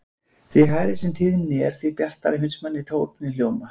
Því hærri sem tíðnin er því bjartari finnst manni tónninn hljóma.